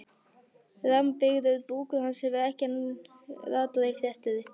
Rammbyggður búkur hans hefur enn ekki ratað í fréttir.